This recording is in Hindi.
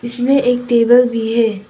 इसमें एक टेबल भी है।